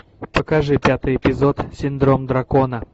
покажи пятый эпизод синдром дракона